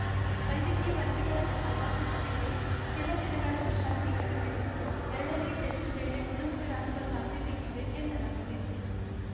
ವೈದ್ಯಕೀಯ ವರದಿಗಳ ಪ್ರಕಾರ ಪೃಥ್ವಿಗೆ ಕೆಲ ದಿನಗಳ ವಿಶ್ರಾಂತಿ ಅಗತ್ಯವಿದ್ದು ಎರಡನೇ ಟೆಸ್ಟ್‌ ವೇಳೆಗೆ ಗುಣಮುಖರಾಗುವ ಸಾಧ್ಯತೆ ಇದೆ ಎನ್ನಲಾಗಿದೆ